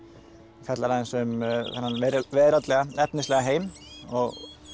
fjallar aðeins um þennan veraldlega efnislega heim og